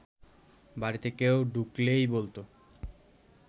বাড়িতে কেউ ঢুকলেই বলত